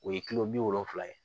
O ye kilo bi wolonfila ye